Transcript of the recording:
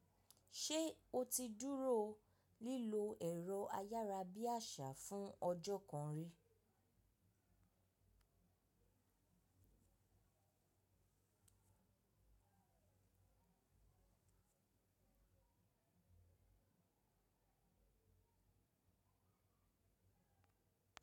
Ṣé o ti dúró lílo ẹ̀rọ ayárabíàṣá fún ọjọ́ kan rí?